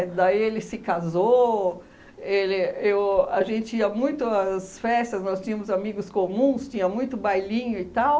Daí ele se casou, ele eu a gente ia muito às festas, nós tínhamos amigos comuns, tinha muito bailinho e tal,